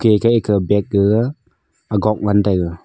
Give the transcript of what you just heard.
ake bag gaga agok ngan taiga.